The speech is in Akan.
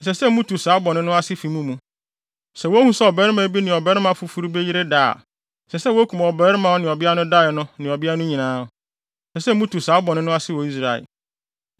Sɛ wohu sɛ ɔbarima bi ne ɔbarima foforo bi yere da a, ɛsɛ sɛ wokum ɔbarima a ɔne ɔbea no dae no ne ɔbea no nyinaa. Ɛsɛ sɛ mutu saa bɔne no ase wɔ Israel.